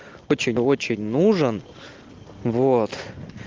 очень очень нужен вот